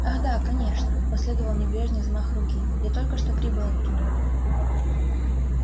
ах да конечно последовал небрежный взмах руки я только что прибыл оттуда